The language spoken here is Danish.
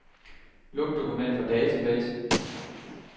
Luk dokument fra database.